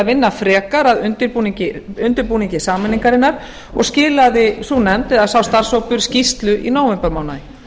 vinna frekar að undirbúningi sameiningarinnar og skilaði sú nefnd eða sá starfshópur skýrslu í nóvembermánuði